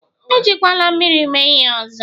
Ejikwala mmiri mee ihe ọzọ!